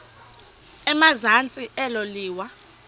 emazantsi elo liwa